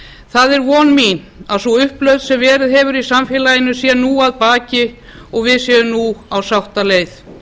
það er von mín að sú upplausn sem verið hefur í samfélaginu sé nú að baki og við séum nú á sáttaleið